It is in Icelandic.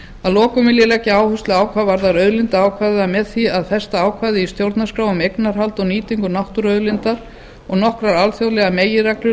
að lokum vil ég leggja áherslu á hvað varðar auðlindaákvæðið að með því að festa ákvæði í stjórnarskrá um eignarhald og nýtingu náttúruauðlinda og nokkrar alþjóðlegar meginreglur